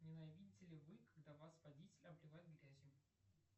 ненавидите ли вы когда вас водители обливают грязью